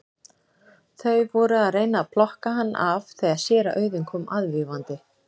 Þau voru að reyna að plokka hann af þegar séra Auðunn kom aðvífandi.